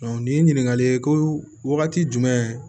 nin ye ɲininkali ye ko wagati jumɛn